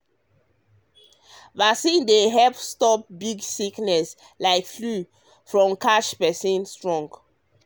vaccine dey help stop help stop big sickness like flu from catch person strong.